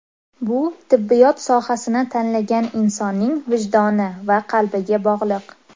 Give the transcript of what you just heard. Bu tibbiyot sohasini tanlagan insonning vijdoni va qalbiga bog‘liq.